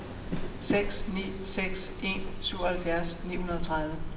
seks ni seks en syvoghalvfjerds ni hundrede og tredive